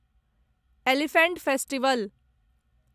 elephant festival